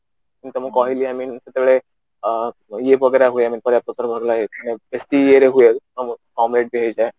ତମକୁ କହିଲି I mean ଯେତେବେଳେ ଆଁ ଇଏ ୱଗେରା ହୁଏ I mean ପରିବା ପତ୍ର ଭଲ ଲାଗେ ବେଶି ଇଏ ରେ ହୁଏ କମ rate ବି ହେଇଯାଏ